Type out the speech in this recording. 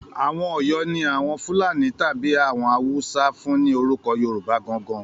Àwọn Ọ̀yọ́ ni àwọn Fúlàní tàbí àwọn Haúsá fún ni orúko Yorùbá gan-an gan-an.